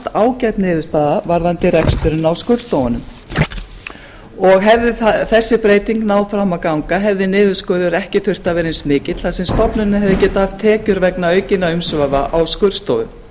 ágæt niðurstaða varðandi reksturinn á skurðstofunum og hefði þessi breyting náð fram að ganga hefði niðurskurður ekki þurft að vera eins mikill þar sem stofnunin hefði getað haft tekjur eins aukinna umsvifa á skurðstofum